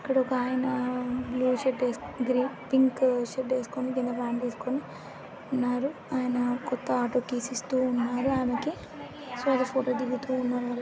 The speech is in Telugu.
ఇక్కడ ఒక ఆయన blue shirt green pink shirt వేసుకుని కింద పాంట్ వేసుకుని ఉన్నారు ఆయన కొత్త ఆటో కీస్ ఇస్తునారు ఆమెకి ఫోటో దిగుతూవున్నారు వాళ్ళు --